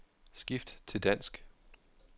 Skift til dansk.